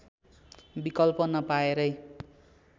विकल्प नपाएरै